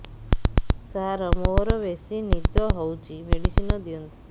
ସାର ମୋରୋ ବେସି ନିଦ ହଉଚି ମେଡିସିନ ଦିଅନ୍ତୁ